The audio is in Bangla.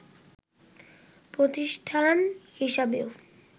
প্রতিষ্ঠান হিসেবেও